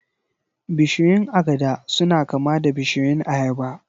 Bishiyun agada suna kama da bishiyun ayaba